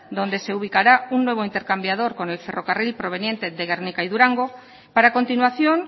donde se ubicará un nuevo intercambiador con el ferrocarril proveniente de gernika y durango para a continuación